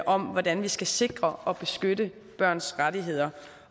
om hvordan vi skal sikre og beskytte børns rettigheder